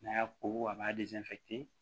N'a y'a koko a b'a